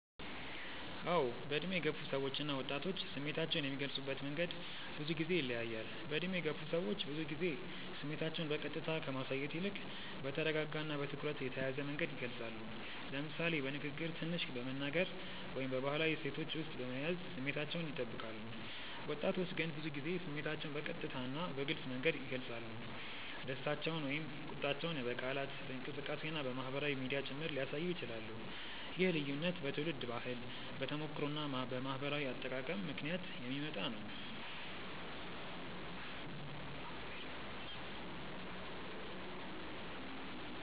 አዎ፣ በዕድሜ የገፉ ሰዎች እና ወጣቶች ስሜታቸውን የሚገልጹበት መንገድ ብዙ ጊዜ ይለያያል። በዕድሜ የገፉ ሰዎች ብዙ ጊዜ ስሜታቸውን በቀጥታ ከማሳየት ይልቅ በተረጋጋ እና በትኩረት የተያዘ መንገድ ይገልጻሉ፤ ለምሳሌ በንግግር ትንሽ በመናገር ወይም በባህላዊ እሴቶች ውስጥ በመያዝ ስሜታቸውን ይጠብቃሉ። ወጣቶች ግን ብዙ ጊዜ ስሜታቸውን በቀጥታ እና በግልጽ መንገድ ይገልጻሉ፤ ደስታቸውን ወይም ቁጣቸውን በቃላት፣ በእንቅስቃሴ እና በማህበራዊ ሚዲያ ጭምር ሊያሳዩ ይችላሉ። ይህ ልዩነት በትውልድ ባህል፣ በተሞክሮ እና በማህበራዊ አጠቃቀም ምክንያት የሚመጣ ነው።